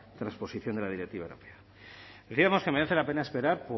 transposición de la directiva europea decíamos que merece la pena esperar